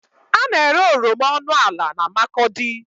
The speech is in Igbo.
A na-ere oroma ọnụ ala na Makurdi.